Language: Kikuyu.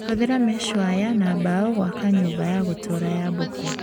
Hũthĩra meshi waya na mbao gũaka nyũmba ya gũtũra ya mbũkũ